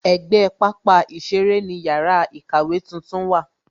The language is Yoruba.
Ègbé pápá ìṣeré ni yàrá ìkàwé tuntun wà